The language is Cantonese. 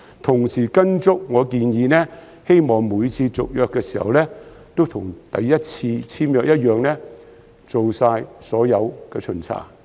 同時，我希望政府會按照我的建議，每次續約時都會跟首次簽約時一樣，做好所有巡查。